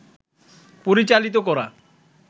পরিচালিত করা